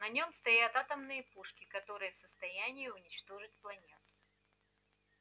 на нём стоят атомные пушки которые в состоянии уничтожить планету